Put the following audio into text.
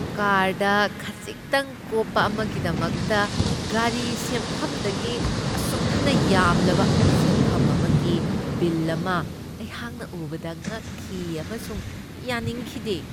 Card ꯈꯖꯤꯛꯇꯪ ꯀꯣꯞꯄ ꯑꯃꯒꯤꯗꯃꯛꯇ ꯒꯥꯔꯤ ꯁꯦꯝꯐꯝꯗꯒꯤ ꯑꯁꯨꯝꯅ ꯌꯥꯝꯂꯕ ꯁꯦꯟꯐꯝ ꯑꯃꯒꯤ ꯕꯤꯜ ꯑꯃ ꯑꯩꯍꯥꯛꯅ ꯎꯕꯗ ꯉꯛꯈꯤ ꯑꯃꯁꯨꯡ ꯌꯥꯅꯤꯡꯈꯤꯗꯦ ꯫